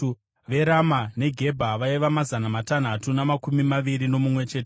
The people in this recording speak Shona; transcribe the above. veRama neGebha vaiva mazana matanhatu namakumi maviri nomumwe chete;